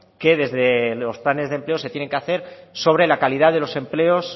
que desde los planes de empleo se tienen que hacer sobre la calidad de los empleos